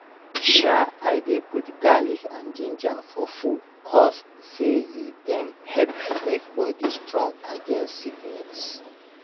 sha i dey put garlic and ginger for food cause say eh dem help make body strong against sickness.